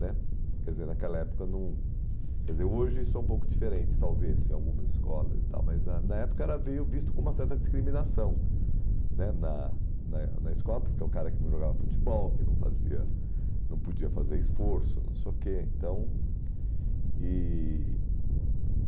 né Quer dizer, naquela época não... Quer dizer, hoje isso é um pouco diferente, talvez, em algumas escolas e tal, mas na na época era veio visto como uma certa discriminação né na na na escola, porque o cara que não jogava futebol, que não fazia, não podia fazer esforço, não sei o quê. Então, e...